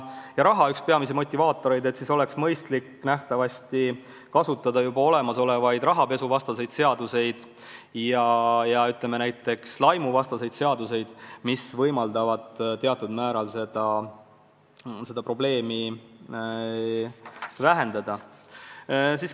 Nii oleks nähtavasti mõistlik kasutada juba olemasolevaid rahapesuvastaseid seaduseid ja ka laimu keelavaid seaduseid, mis võimaldavaid teatud määral seda probleemi vähendada.